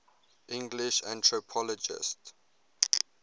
english anthropologists